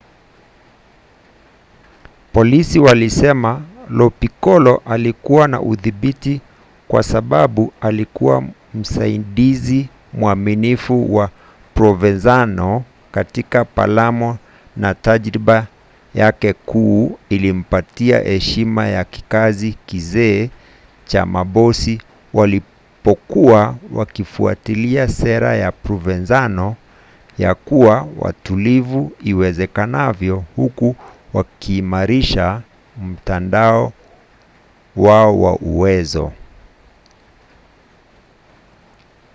polisi walisema lo piccolo alikuwa na udhibiti kwa sababu alikuwa msaidizi mwaminifu wa provenzano katika palamo na tajiriba yake kuu ilimpatia heshima ya kizazi kizee cha mabosi walipokuwa wakifuatilia sera ya provenzano ya kuwa watulivu iwezekanavyo huku wakiimarisha mtandao wao wa uwezo